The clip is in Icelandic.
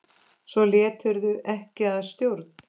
Svo létirðu ekki að stjórn.